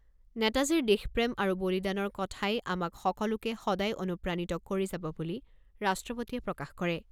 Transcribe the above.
নেতাজীৰ দেশপ্ৰেম আৰু বলিদানৰ কথাই আমাক সকলোকে সদায় অনুপ্ৰাণিত কৰি যাব বুলি ৰাষ্ট্ৰপতিয়ে প্ৰকাশ কৰে।